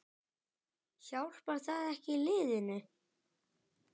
Hjálpar það ekki liðinu?